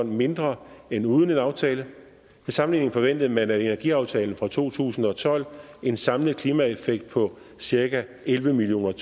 mindre end uden en aftale til sammenligning forventede man af energiaftalen fra to tusind og tolv en samlet klimaeffekt på cirka elleve million